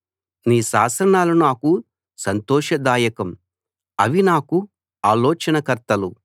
నీ శాసనాలు నాకు సంతోషదాయకం అవి నాకు ఆలోచనకర్తలు